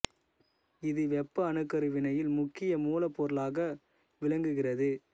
இது வெப்ப அணுக்கரு வினையில் முக்கிய மூலப் பொருளாக விளங்குகிறது